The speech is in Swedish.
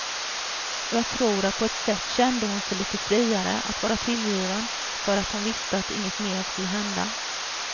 Och jag tror att på ett sätt kände hon sig lite friare att vara tillgiven för att hon visste att inget mer skulle hända.